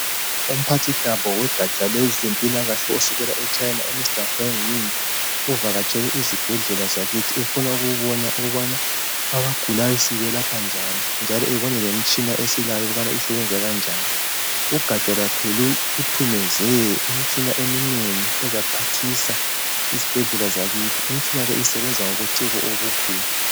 Umphathintambo wogaja lwezempilakahle, osukela e China, uMr Gweimin. Uvakatshele izibhedlela zakithi. Ufuna ukubona ukubana abagulayo, sibelapha njani, njalo ebone lemitshina esilayo ukuthi isebenza njani. Ugaja lwakhe luphathise imitshina eminengi. Ezaphathisa izibhedlela zakithi. Imitshina le isebenza ngobuciko obukhulu.